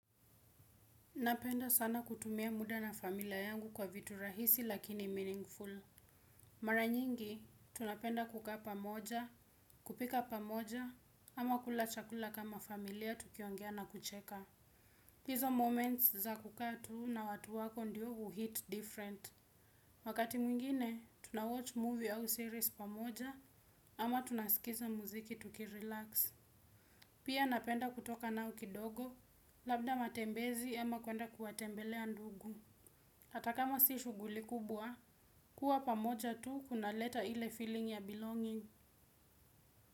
Napenda sana kutumia muda na familia yangu kwa vitu rahisi lakini meaningful. Mara nyingi, tunapenda kukaa pamoja, kupika pamoja, ama kula chakula kama familia tukiongea na kucheka. Hizo moments za kukaa tu na watu wako ndiyo uhit different. Wakati mwingine, tunawatch movie au series pamoja, ama tunasikiza muziki tukirelax. Pia napenda kutoka nao kidogo, labda matembezi ama kuenda kuwatembelea ndugu. Hata kama si shughuli kubwa, kuwa pamoja tu kunaleta ile feeling ya belonging.